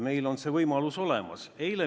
Meil on see võimalus olemas.